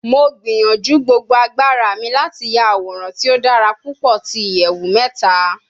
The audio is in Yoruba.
Mo gbiyanju gbogbo agbara mi lati ya aworan ti o dara pupọ ti iyẹwu mẹta